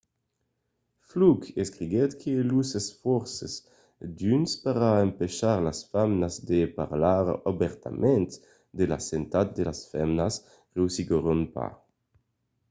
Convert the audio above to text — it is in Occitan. fluke escriguèt que los esfòrces d'unes per empachar las femnas de parlar obèrtament de la santat de las femnas reüssiguèron pas